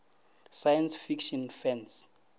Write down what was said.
science fiction fans